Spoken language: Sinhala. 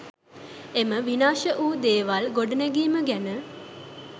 එම විනාශ වූ දේවල් ගොඩනැගීම ගැන